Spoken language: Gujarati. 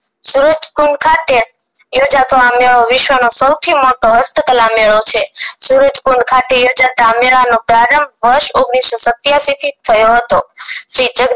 સુરજકુંડ ખાતે યોજતો આ મેળો વિશ્વનો સૌથી મોટો હસ્તકળા મેળો છે સુરજકુંડ ખાતે થતાં મેલ નો પ્રારંભ વર્ષ ઓગણીસો સતીયસી થી થયો હતો શ્રી જગદીશ